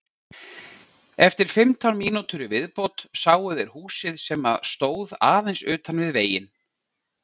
Eftir fimmtán mínútur í viðbót sáu þeir húsið sem stóð aðeins utan við veginn.